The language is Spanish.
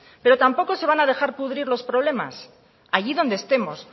pero tampoco se van a dejar pudrir los problemas allí donde estemos